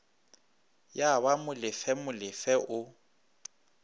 ya ba molefe molefe o